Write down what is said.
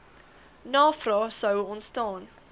navrae sou ontstaan